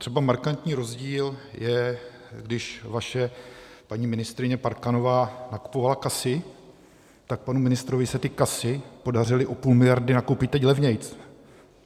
Třeba markantní rozdíl je, když vaše paní ministryně Parkanová nakupovala Casy, tak panu ministrovi se ty Casy podařily o půl miliardy nakoupit teď levněji.